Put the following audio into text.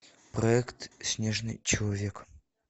проект снежный человек